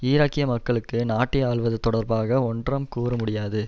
ஈராக்கிய மக்களுக்கு நாட்டை ஆள்வது தொடர்பாக ஒன்றாம் கூறமுடியாது